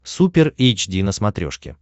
супер эйч ди на смотрешке